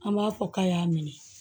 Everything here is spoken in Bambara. An b'a fɔ k'a y'a minɛ